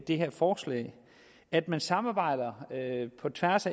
det her forslag at man samarbejder på tværs